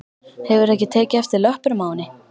Hefurðu ekki tekið eftir löppunum á henni?